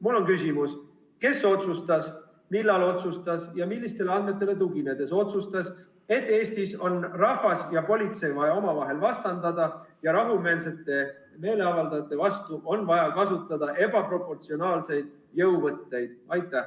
Mul on küsimus: kes otsustas, millal otsustas ja millistele andmetele tuginedes otsustas, et Eestis on rahvast ja politseid vaja omavahel vastandada ja rahumeelsete meeleavaldajate vastu on vaja kasutada ebaproportsionaalseid jõuvõtteid?